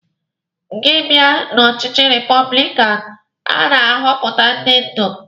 Gị bịa na ọchịchị repọblikanụ, a na-ahọpụta ndị ndú